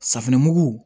Safinɛmugu